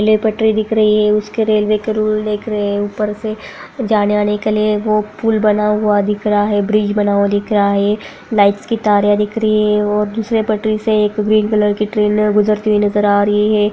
हमें पटरी दिख रही है उसके रेलवे के रूल दिख रहे है ऊपर से जाने आने के लिए पुल बना हुआ देख रहा है ब्रिज बना हुआ दिख रहा है लाइट्स की तारे दिख रही है और दुसरें पटरी से ग्रीन कलर कि ट्रेन गुजरती हुई देख रही है।